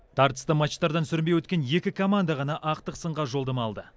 тартысты матчтардан сүрінбей өткен екі команда ғана ақтық сынға жолдама алды